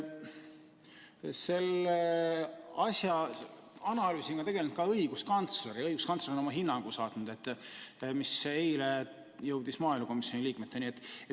Seda asja on analüüsinud ka õiguskantsler ja õiguskantsler on saatnud oma hinnangu, mis eile jõudis maaelukomisjoni liikmeteni.